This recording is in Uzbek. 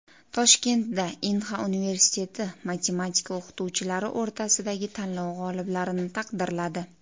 Toshkentdagi Inha universiteti matematika o‘qituvchilari o‘rtasidagi tanlov g‘oliblarini taqdirladi.